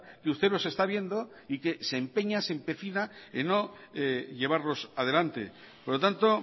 que usted los está viendo y que se empecina en no llevarlos adelante por lo tanto